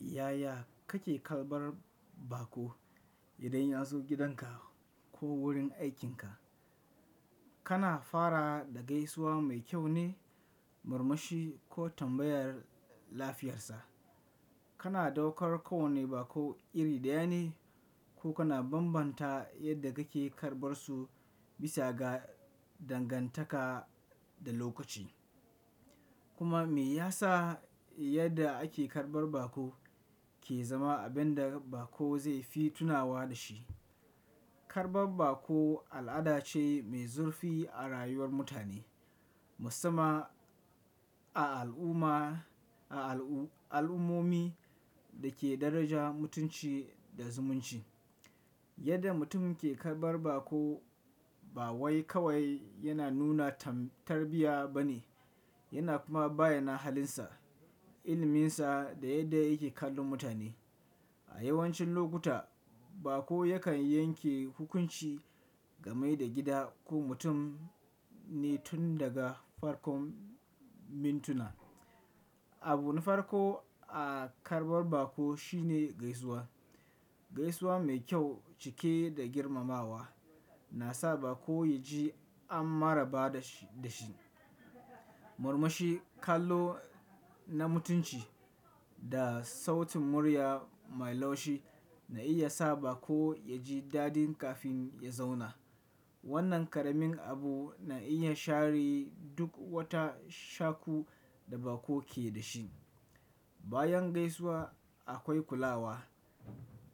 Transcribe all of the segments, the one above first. Yaya kake karɓar bako? Idan ya zo gidanka ko wurin aikinka, kana fara da gaisuwa mai kyau ne, murmushi ko tambayar lafiyarsa. Kana daukar kowani bako iri ɗaya ne ko kana bambanta yadda kake karɓarsu bisa ga dangantaka da lokaci. Kuma me yasa yadda ake karɓar bako ke zama abin da bako zai fi tunawa da shi. Karɓar bako al'ada ce mai zurfi a rayuwar mutane, musamman a al'umma-- a al'ummomi da ke daraja mutunci da zumunci. Yadda mutum ke karɓar bako ba wai kawai yana nuna tarbiya ba ne, yana kuma bayyana halinsa, ilminsa da yadda yake kallon mutane. A yawancin lokuta bako yakan yanke hukunci game da gida ko mutum ne tun daga farkon mintuna. Abu na farko a karɓar bako shine gaisuwa. Gaisuwa mai kyau cike da girmamawa na sa bako ya ji an maraba da shi. Murmushi, kallo na mutunci da sautin murya mai laushi na iya sa bako ya ji dadin kafin ya zauna. Wannan ƙaramin abu na iya share duk wata shakku da bako ke da shi. Bayan gaisuwa akwai kulawa.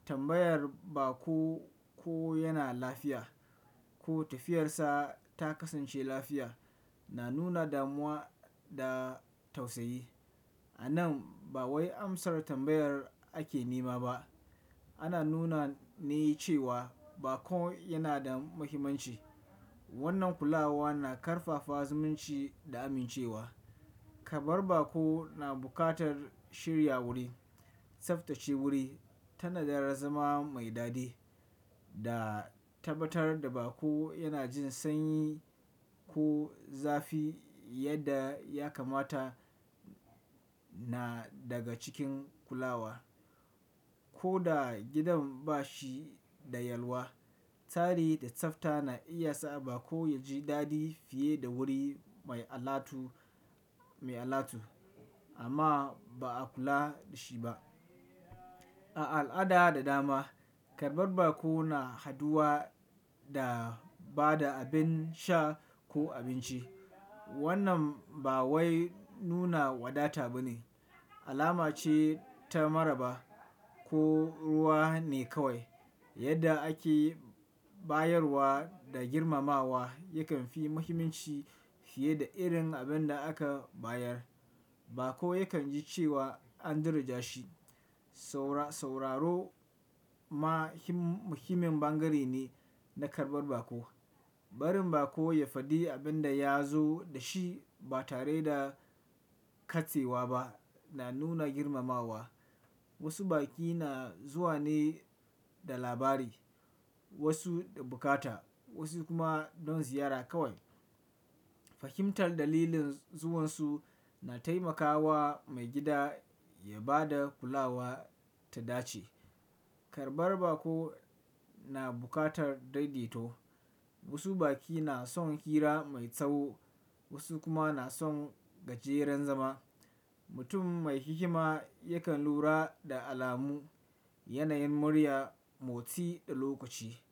Tambayar bako ko yana lafiya ko tafiyarsa ta kasance lafiya na nuna damuwa da tausayi. A nan ba wai amsar tambayar ake nema ba, ana nuna ne cewa bako yana da muhimmanci. Wannan kulawa na ƙarfafa zumunci da amincewa. Karɓar bako na buƙatar shirya wuri, tsaftace wuri, tanadar zama mai dadi da tabbatar da bako yana jin sanyi ko zafi yadda ya kamata na daga cikin kulawa. Ko da gidan ba shi da yalwa, tari da tsafta na iya sa bako ya ji dadi fiye da wuri mai alatu, mai alatu amma ba a kula da shi ba. A al'ada da dama karɓar bako na haduwa da ba da abin sha ko abinci. Wannan ba wai nuna wadata ba ne, alama ce ta maraba ko ruwa ne kawai. Yadda ake bayarwa da girmamawa yakan fi muhimmanci fiye da irin abin da aka bayar. Bako yakan ji cewa an daraja shi. Sauraro ma muhimmin bangare ne na karɓar bako. Barin bako ya faɗi abin da ya zo da shi ba tare da katsewa ba na nuna girmamawa. Wasu baki na zuwa ne da labari, wasu da buƙata, wasu kuma don ziyara kawai. Fahimtar dalilin zuwansu na taimakawa mai gida ya ba da kulawa ta dace. Karɓar bako na buƙatar daidaito. Wasu baki na son hira mai tsawo, wasu kuma na son gajeran zama. Mutum mai hikima yakan lura da alamu, yanayin murya, motsi da lokaci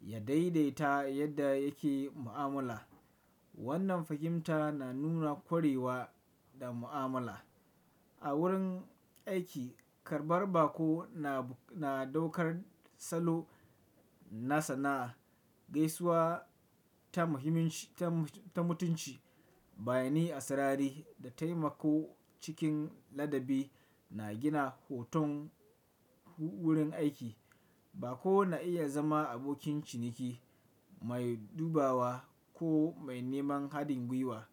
ya daidaita yadda yake mu'amala. Wannan fahimta na nuna ƙwarewa da mu'amala. A wurin aiki karɓar bako na daukar salo na sana'a, gaisuwa ta muhimmanci-- ta mutunci, bani asarari da taimako cikin ladabi na gina hoton wurin aiki. Bako na iya zama abokin ciniki mai dubawa ko mai neman haɗin gwiwa.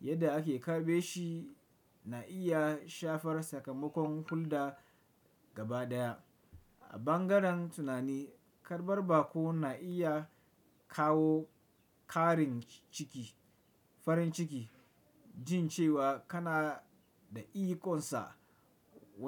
Yadda ake karɓe shi na iya shafar sakamakon hulɗar gaba ɗaya. A bangaren tunani, karɓar bako na iya kawo ƙarin ciki, farin ciki jin cewa kana da iƙonsa wa.